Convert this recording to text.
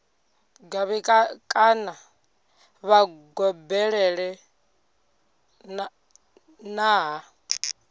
ṱavhe kana vha gobelele nṱha